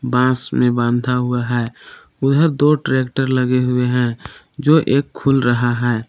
बांस में बाँधा हुआ है उधर दो ट्रैक्टर लगे हुए हैं जो एक खुल रहा है।